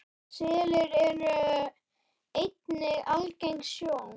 Selir eru einnig algeng sjón.